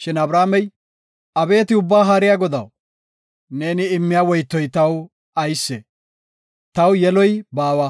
Shin Abramey, “Abeeti Ubba Haariya Godaw, neeni immiya woytoy taw aysee? Taw yeloy baawa;